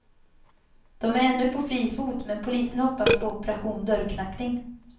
De är ännu på fri fot, men polisen hoppas på operation dörrknackning.